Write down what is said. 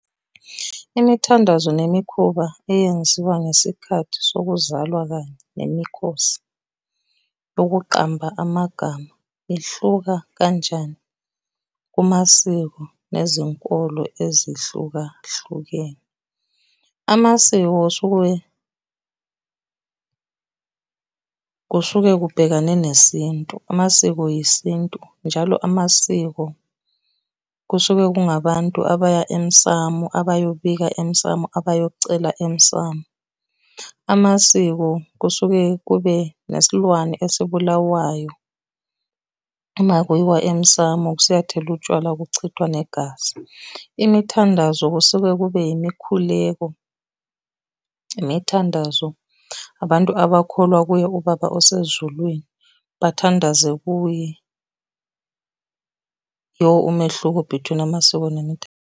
Imithandazo nemikhuba eyenziwa ngesikhathi sokuzalwa kanye nemikhosi yokuqamba amagama ihluka kanjani kumasiko nezinkolo ezihlukahlukene. Amasiko kusuke kusuke kubhekane nesintu amasiko isintu, njalo amasiko kusuke kungabantu abaya emsamu abayobika emsamu abayocela emsamu. Amasiko kusuke kube nesilwane esibulawayo, uma kuyiwa emsamu siyothelwa utshwala kuchithwa negazi. Imithandazo kusuke kube yimikhuleko, imithandazo, abantu abakholwa kuye ubaba osezulwini, abathandaze kuye . Yiwo umehluko between amasiko .